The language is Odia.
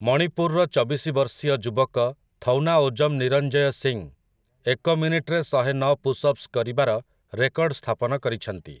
ମଣିପୁରର ଚବିଶି ବର୍ଷୀୟ ଯୁବକ ଥୌନାଓଜମ୍ ନିରଞ୍ଜୟ ସିଂ ଏକ ମିନିଟରେ ଶହେନଅ ପୁଶ୍ଅପ୍ସ କରିବାର ରେକର୍ଡ ସ୍ଥାପନ କରିଛନ୍ତି ।